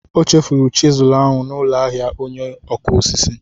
O chefuru chịsụ ahụ n'ụlọ ahịa onye ọkụ osisi.